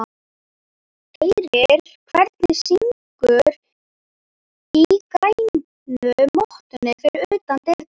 Heyrir hvernig syngur í grænu mottunni fyrir utan dyrnar.